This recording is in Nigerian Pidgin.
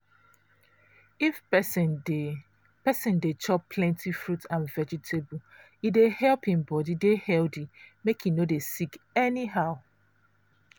if persin dey persin dey chop plenty fruit and vegetable e dey help hin body dey healthy make e no dey sick anyhow.